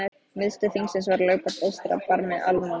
Miðstöð þingsins var Lögberg á eystra barmi Almannagjár.